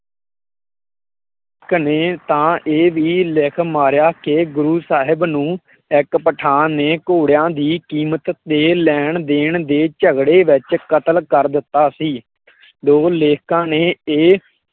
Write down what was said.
ਇਕ ਨੇ ਤਾਂ ਇਹ ਵੀ ਲਿੱਖ ਮਾਰਿਆ ਕਿ ਗੁਰੁ ਸਾਹਿਬ ਨੂੰ ਇਕ ਪਠਾਣ ਨੇ ਘੋੜਿਆ ਦੀ ਕੀਮਤ ਦੇ ਲੈਣ ਦੇਣ ਦੇ ਝਗੜੇ ਵਿੱਚ ਕਤਲ ਕਰ ਦਿੱਤਾ ਸੀ। ਦੋ ਲੇਖਕਾਂ ਨੇ